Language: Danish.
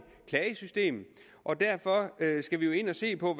klagesystem og derfor skal vi jo ind og se på